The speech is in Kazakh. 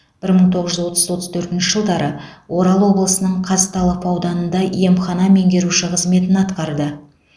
бір мың тоғыз жүз отыз отыз төртінші жылдары орал облысының казталов ауданында емхана меңгеруші қызметін атқарды